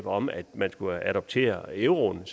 om at man skulle adoptere euroen